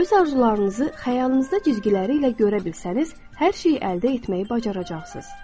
Öz arzularınızı xəyalınızda cizgiləri ilə görə bilsəniz, hər şeyi əldə etməyi bacaracaqsınız.